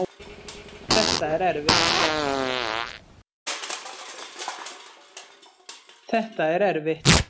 Þetta er erfitt